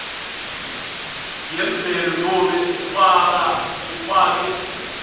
yemvelo nobe ufake